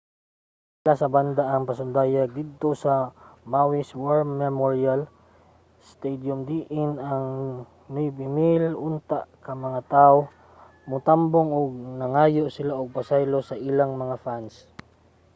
gikansela sa banda ang pasundayag didto sa maui's war memorial stadium diin 9000 unta ka mga tawo ang motambong ug nangayo sila og pasaylo sa ilang mga fan